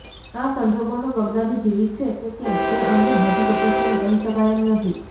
આ સંજોગોમાં બગદાદી જીવિત છે કે કેમ એ અંગે હજુ ચોક્કસપણે કહી શકાય એમ નથી